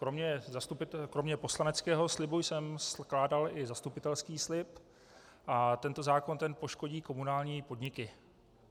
Kromě poslaneckého slibu jsem skládal i zastupitelský slib a tento zákon poškodí komunální podniky.